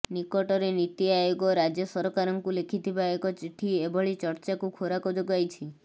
ନିକଟରେ ନୀତି ଆୟୋଗ ରାଜ୍ୟ ସରକାରଙ୍କୁ ଲେଖିଥିବା ଏକ ଚିଠି ଏଭଳି ଚର୍ଚ୍ଚାକୁ ଖୋରାକ ଯୋଗାଇଛି